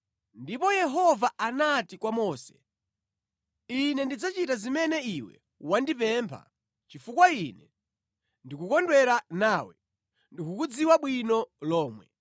Ndipo Yehova anati kwa Mose, “Ine ndidzachita zimene iwe wandipempha chifukwa Ine ndikukondwera nawe, ndikukudziwa bwino lomwe.”